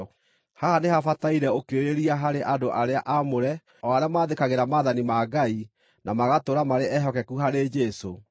Haha nĩhabataire ũkirĩrĩria harĩ andũ arĩa aamũre, o arĩa maathĩkagĩra Maathani ma Ngai, na magatũũra marĩ ehokeku harĩ Jesũ.